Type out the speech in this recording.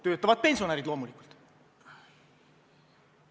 Töötavad pensionärid loomulikult.